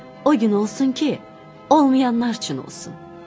O gün olsun ki, olmayanlar üçün olsun.